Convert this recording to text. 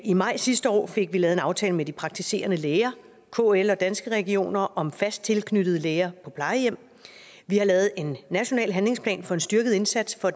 i maj sidste år fik vi lavet en aftale med de praktiserende læger kl og danske regioner om fast tilknyttede læger på plejehjem vi har lavet en national handlingsplan for en styrket indsats for